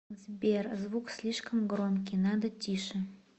сбер звук слишком громкий надо тише